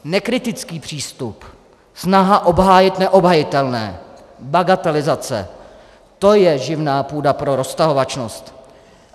Nekritický přístup, snaha obhájit neobhajitelné, bagatelizace, to je živná půda pro roztahovačnost.